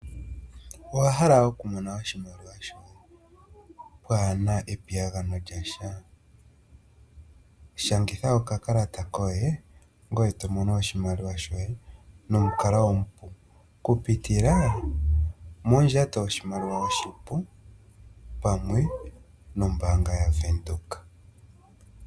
Owa hala oku mona oshimaliwa shoye pwaana epiyagano lyasha? Shangitha okakalata koye ngoye to mono oshimaliwa shoye nomukalo omupu okupitila mondjato yoshimaliwa oshipu pamwe nombaanga yaVenduka.